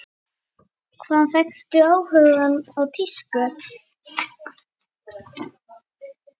Hvaðan fékkstu áhugann á tísku?